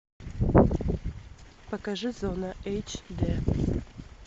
покажи зона эйч дэ